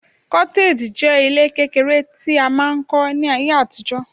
cottage je ile kekere mri a mask n ko ni aye atijo